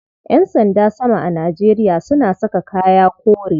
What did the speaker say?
Yan sanda sama a Najeria suna saka kaya kore.